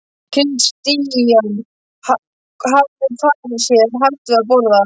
Christian hafði farið sér hægt við að borða.